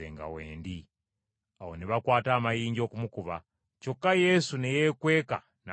Awo ne bakwata amayinja okumukuba, kyokka Yesu ne yeekweka n’afuluma mu Yeekaalu.